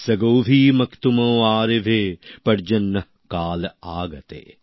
স্বগোভিঃ মোক্তুম আরেভে পর্জন্যঃ কাল আগতে